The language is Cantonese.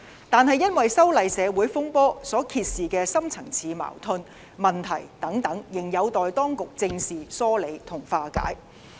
但是，因為修例社會風波所揭示的深層次矛盾和問題等仍有待當局正視、疏理和化解。